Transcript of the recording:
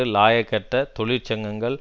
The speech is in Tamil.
இலாயக்கற்ற தொழிற் சங்கங்கள்